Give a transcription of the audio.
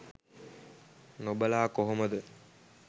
නොබලා කොහොමද.